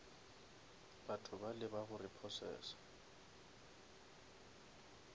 batho bale ba go repossesa